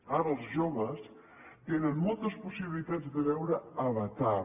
ara els joves tenen moltes possibilitats de veure avatar